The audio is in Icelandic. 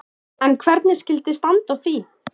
En hvernig skyldi standa á því?